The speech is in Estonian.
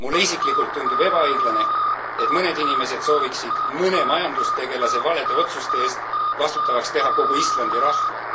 Mulle isiklikult tundub ebaõiglane, et mõned inimesed sooviksid mõne majandustegelase valede otsuste eest vastutavaks teha kogu Islandi rahva.